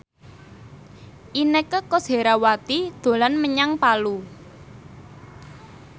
Inneke Koesherawati dolan menyang Palu